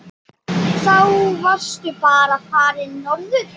Þá varstu bara farinn norður.